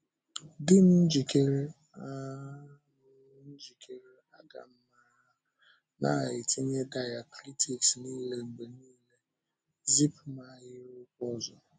Dị m njikere! A m njikere! A ga m na-etinye diacritics niile mgbe niile. Zipụ m ahịrịokwu ọzọ!